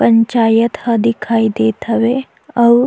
पंचायत ह दिखाई देत हवे अउ--